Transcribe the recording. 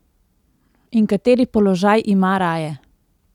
In kateri položaj ima raje?